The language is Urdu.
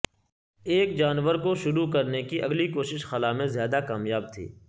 ایک جانور کو شروع کرنے کی اگلی کوشش خلا میں زیادہ کامیاب تھی